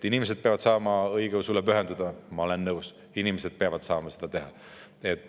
Inimesed peavad saama õigeusule pühenduda – ma olen nõus, inimesed peavad saama seda teha.